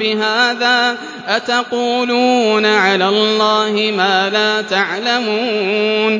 بِهَٰذَا ۚ أَتَقُولُونَ عَلَى اللَّهِ مَا لَا تَعْلَمُونَ